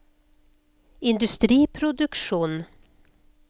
industriproduksjon